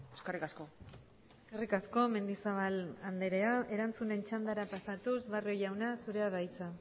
eskerrik asko eskerrik asko mendizabal andrea erantzunen txandara pasatuz barrio jauna zurea da hitza